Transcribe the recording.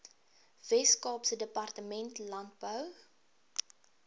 weskaapse departement landbou